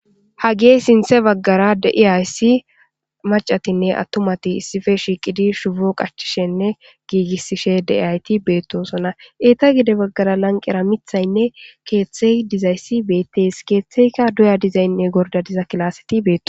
Hage sintha bagara de'aysi maccathinne attumathi issippe shiqidi shupo qachishishinne gigisishe de'aythi bethoson. Etta gede bagar lanqen mithaynnenkeththayi dizaysi bethes ketheka do'a dizaynne Gorda dizayssi bethossona.